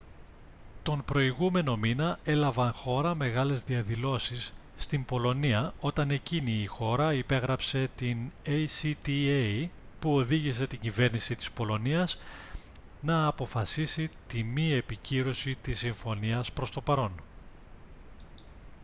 τον προηγούμενο μήνα έλαβαν χώρα μεγάλες διαδηλώσεις στην πολωνία όταν εκείνη η χώρα υπέγραψε την acta που οδήγησε την κυβέρνηση της πολωνίας να αποφασίσει τη μη επικύρωση της συμφωνίας προς το παρόν